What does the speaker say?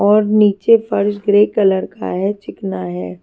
और नीचे फर्श ग्रे कलर का है चिकना है।